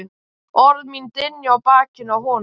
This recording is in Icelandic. Orð mín dynja á bakinu á honum.